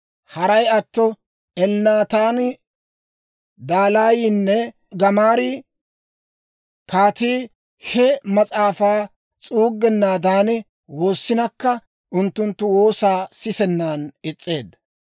Haray atto Elnaataani, Dalaayinne Gamaarii kaatii he mas'aafaa s'uuggennaadan woossinakka, unttunttu woosaa sisennan is's'eedda.